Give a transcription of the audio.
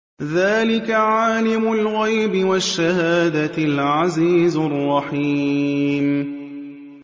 ذَٰلِكَ عَالِمُ الْغَيْبِ وَالشَّهَادَةِ الْعَزِيزُ الرَّحِيمُ